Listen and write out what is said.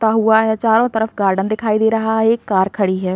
हुआ है चारों तरफ गार्डन दिखाई दे रहा है एक कार खड़ी है।